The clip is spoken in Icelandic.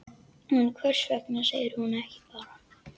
En hvers vegna segir hún ekki bara: